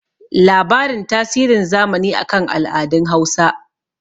labarin tasirin zamani a kan al'adun Hausa